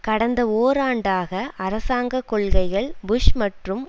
கடந்த ஓராண்டாக அரசாங்க கொள்கைகள் புஷ் மற்றும்